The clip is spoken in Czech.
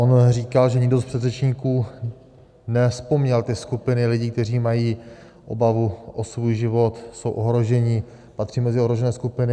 On říkal, že nikdo z předřečníků nevzpomněl ty skupiny lidí, kteří mají obavu o svůj život, jsou ohrožení, patří mezi ohrožené skupiny.